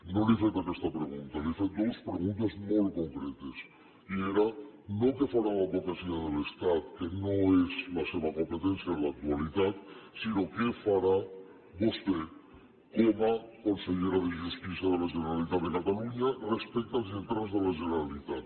no li he fet aquesta pregunta li he fet dues preguntes molt concretes i eren no què farà l’advocacia de l’estat que no és la seva competència en l’actualitat sinó què farà vostè com a consellera de justícia de la generalitat de catalunya respecte als lletrats de la generalitat